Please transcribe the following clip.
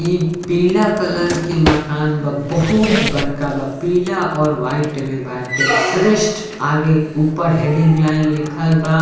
ई पीला कलर के मकान बा बहुत बड़का बा पीला और वाइट में बाटे | श्रेष्ठ आगे उपर हेडिंग लाइन लिखल बा।